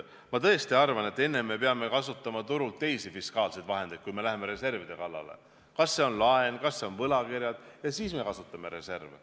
Ma tõesti arvan, et enne me peame kasutama turult teisi fiskaalseid vahendeid, kui me läheme reservide kallale, kas see on laen, kas see on võlakirjad, ja siis me kasutame reserve.